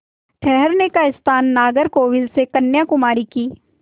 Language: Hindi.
ठहरने का स्थान नागरकोविल से कन्याकुमारी की